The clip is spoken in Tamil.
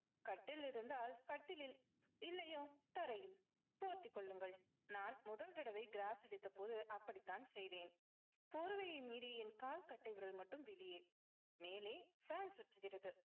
கட்டில் இருந்தால் கட்டிலில் இல்லையோ தரையில். போத்திக் கொள்ளுங்கள் நான் முதல் தடவை gross அடித்தபோது அப்படித்தான் செய்தேன். போர்வையை மீறி என் கால் கட்டை விரல் மட்டும் வெளியே. மேலே fan சுற்றுகிறது.